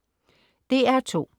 DR2: